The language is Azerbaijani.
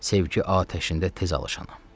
Sevgi atəşində tez alışanam.